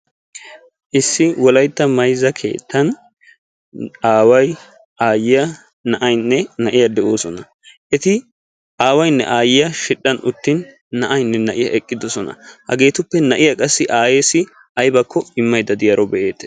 Issi wolaytta mayzza keettan aaway, aayyiya, na'aynne na'iyaa de'oosona. Eti aawaynne aayyiya shidhdhan uttin na'aynne na'iya eqqidoosona. Hageetuppe na'iya qassi aayyeessi aybbakko immaydda de'iyaaro be'eettes.